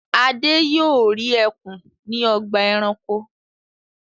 Adé yóò rí ẹkùn ní ọgbà-ẹranko.